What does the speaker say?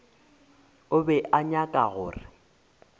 o be a nyaka gore